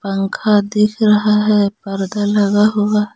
पंखा दिख रहा है पर्दा लगा हुआ --